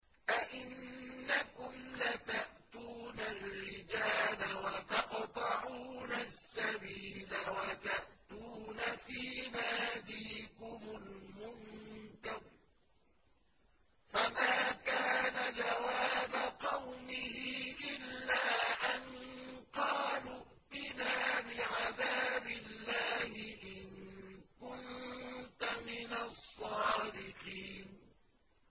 أَئِنَّكُمْ لَتَأْتُونَ الرِّجَالَ وَتَقْطَعُونَ السَّبِيلَ وَتَأْتُونَ فِي نَادِيكُمُ الْمُنكَرَ ۖ فَمَا كَانَ جَوَابَ قَوْمِهِ إِلَّا أَن قَالُوا ائْتِنَا بِعَذَابِ اللَّهِ إِن كُنتَ مِنَ الصَّادِقِينَ